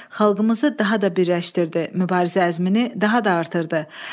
Xalqımızı daha da birləşdirdi, mübarizə əzmini daha da artırdı.